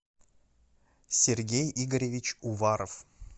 сергей игоревич уваров